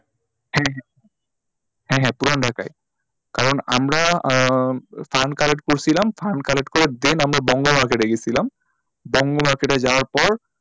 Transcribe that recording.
হ্যাঁ হ্যাঁ হ্যাঁ হ্যাঁ পুরান ঢাকায় কারণ আমরা আহ fund collect করছিলাম fund collect করে then আমরা বঙ্গ market এ গিয়েছিলাম বঙ্গ market এ যাওয়ার পর,